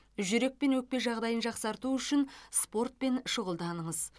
жүрек пен өкпе жағдайын жақсарту үшін спортпен шұғылданыңыз